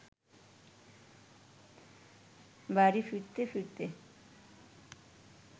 বাড়ি ফিরতে ফিরতে